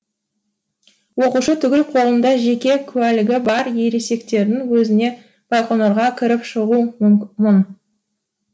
оқушы түгіл қолында жеке куәлігі бар ересектердің өзіне байқоңырға кіріп шығу мұң